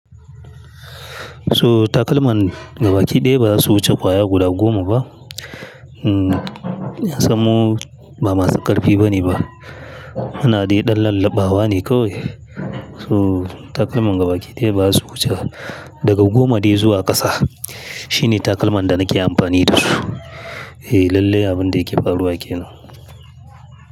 So takalman gaba ki ɗaya ba su wuce kwaya guda goma ba. Kasan mu ba masu ƙarfi bane ba. Ana dai ɗan lallabawa ne kawai. So takalman gaba ki ɗaya ba su wuce daga goma dai zuwa ƙasa. Shine takalman da nake amfani da su. Eh lallai abin da yake faruwa kenan.